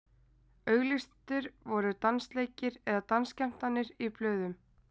Auglýstir voru dansleikir eða dansskemmtanir í blöðum.